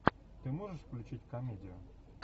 ты можешь включить комедию